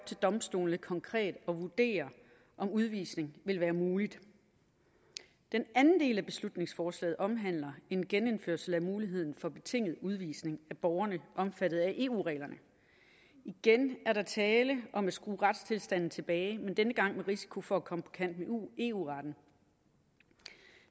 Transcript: til domstolene konkret at vurdere om udvisning vil være mulig den anden del af beslutningsforslaget omhandler en genindførelse af muligheden for betinget udvisning af borgere omfattet af eu reglerne igen er der tale om at skrue retstilstanden tilbage men denne gang med risiko for at komme på kant med eu retten